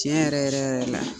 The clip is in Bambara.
Tiɲɛ yɛrɛ yɛrɛ yɛrɛ la